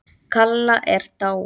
Kalla er dáin.